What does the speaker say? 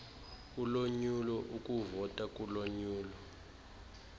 ulonyulo ukuvota kulonyulo